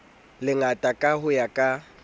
lengata ka ho ya ka